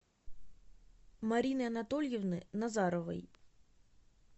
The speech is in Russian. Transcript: марины анатольевны назаровой